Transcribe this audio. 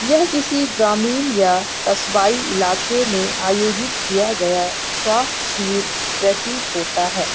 किसी ग्रामीण या कस्बाई इलाके में आयोजित किया गया स्वास्थ्य शिविर प्रतीत होता है।